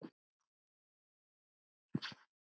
Blessuð veri minning hennar.